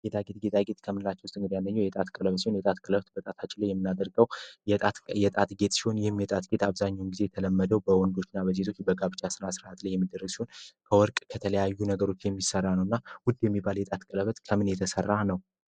ጌጣ ጌጥ ጥቂት ከምላቸው ውስጥ ያለኘው የጣት ቅለበት ሲሆን የጣት ቅለበት በጣት አችለው የሚናደርገው የጣት ጌት ሲሆን ይህም የጣትጌት አብዛኙን ጊዜ ተለመደው በወንዶችና በሴቶች በጋብጫ ስና ሥርሃት ላይ የሚደረግ ሲሆን ከወርቅ ከተለያዩ ነገሮች የሚሠራ ነው እና ውድ የሚባል የጣት ቅለበት ከምን የተሠራ ነው?